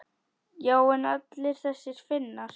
Já en allir þessir Finnar.